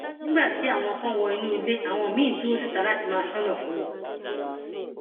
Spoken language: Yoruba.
nígbà tí àwọn kan wọ inú ilé àwọn míín dúró síta láti máa ṣọnà fún wọn